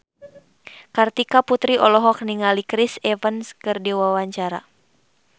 Kartika Putri olohok ningali Chris Evans keur diwawancara